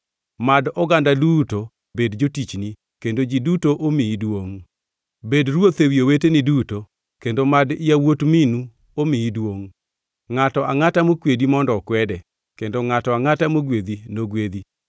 Mad oganda duto bed jotichni kendo ji duto omiyi duongʼ. Bed ruoth ewi oweteni duto kendo mad yawuot minu omiyi duongʼ. Ngʼato angʼata mokwedi mondo okwede kendo ngʼato angʼata mogwedhi nogwedhi.”